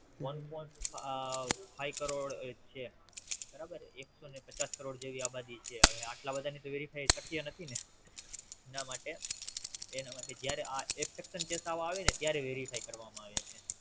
One point five crore છે બરાબર એકસો ને પચાસ કરોડ ની આબાદી છે હવે આટલા બધાની તો Verify શક્ય નથી ને એના માટે એના માટે જયારે આવે ને ત્યારે Verify કરવામાં આવે છે